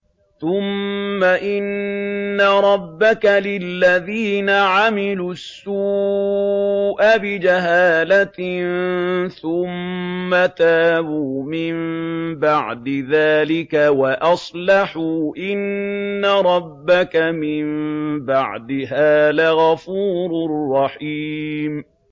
ثُمَّ إِنَّ رَبَّكَ لِلَّذِينَ عَمِلُوا السُّوءَ بِجَهَالَةٍ ثُمَّ تَابُوا مِن بَعْدِ ذَٰلِكَ وَأَصْلَحُوا إِنَّ رَبَّكَ مِن بَعْدِهَا لَغَفُورٌ رَّحِيمٌ